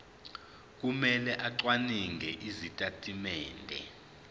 kumele acwaninge izitatimende